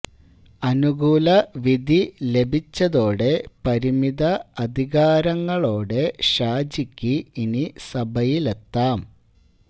അനുകൂല വിധി ലഭിച്ചതോടെ പരിമിത അധികാരങ്ങളോടെ ഷാജിക്ക് ഇനി സഭയിലെത്താം